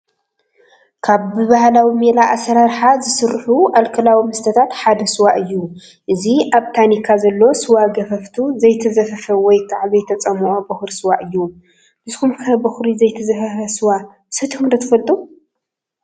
ካብ ብባህላዊ ሜላ ኣሰራርሓ ዝስርሑ ኣልኮላዊ መስተታት ሓደ ስዋ እዩ፡፡ እዚ ኣብ ታኒካ ዘሎ ስዋ ገፈፈቱ ዘይተዘፈፈ ወይ ከዓ ዘይተፆሞቐ ቦኹሪ ስዋ እዩ፡፡ ንስኹም ከ ቦኽሪ ዘይተዘፈፈ ስዋ ሰቲኹም ዶ ትፈልጡ?